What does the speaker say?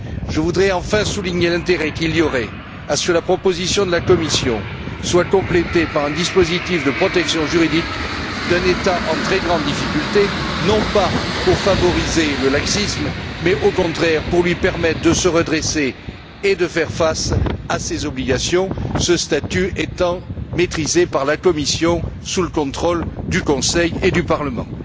Je voudrais enfin souligner l'intérêt qu'il y aurait à ce que la proposition de la Commission soit complétée par un dispositif de protection juridique d'un État en très grande difficulté non pas pour favoriser le laxisme mais, au contraire, pour lui permettre de se redresser et de faire face à ses obligations ce statut étant maîtrisé par la Commission sous le contrôle du Conseil et du Parlement.